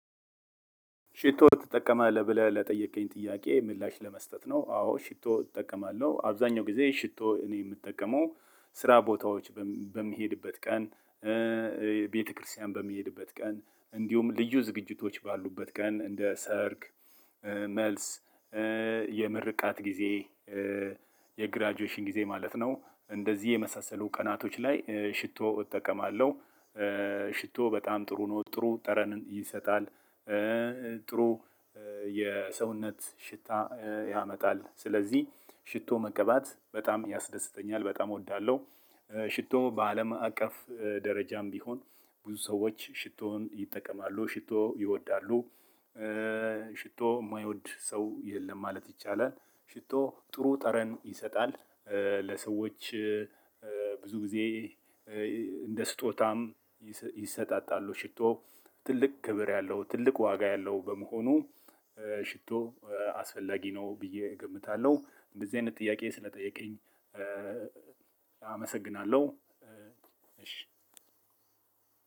ሽቶ ትጠቀማለህ ብለህ ለጠየከኝ ጥያቄ ምላሽ ለመስጠት ነው። አዎ ሽቶ እጠቀማለሁ አብዛኛው ጊዜ ሽቶ እኔ የምጠቀመው ስራ ቦታዎች በሚሄድበት ቀን። ቤተክርስቲያን በሚሄድበት ቀን እንዲሁም ልዩ ዝግጅቶች ባሉበት ቀን እንደ ሰርግ። መልስ የምርቃት ጊዜ የግራጁዌሽን ጊዜ ማለት ነው። እንደዚህ የመሳሰሉ ቀናቶች ላይ ሽቶ እጠቀማለሁ። ሽቶ በጣም ጥሩ ነው ጥሩ ጠረን ይሰጣል። ጥሩ የሰውነት ሽታ ያመጣል ስለዚህ ሽቶ መቀባት በጣም ያስደስተኛል በጣም እወዳለሁ። ሽቶ በአለም አቀፍ ደረጃም ቢሆን ብዙ ሰዎች ሽቶን ይጠቀማሉ ሽቶ ይወዳሉ። ሽቶ የማይወድ ሰው የለም ማለት ይቻላል። ሽቶ ጥሩ ጠረን ይሰጣል። ለሰዎች ብዙ ጊዜ እንደ ስጦታም ይሰጣጣሉ ሽቶ። ትልቅ ክብር ያለው ትልቅ ዋጋ ያለው በመሆኑ። ሽቶ አስፈላጊ ነው ብዬ እገምታለሁ። እንደዚህ አይነት ጥያቄ ስለጠየከኝ። አመሰግናለሁ። እሺ